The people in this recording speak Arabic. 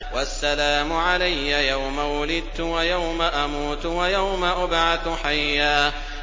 وَالسَّلَامُ عَلَيَّ يَوْمَ وُلِدتُّ وَيَوْمَ أَمُوتُ وَيَوْمَ أُبْعَثُ حَيًّا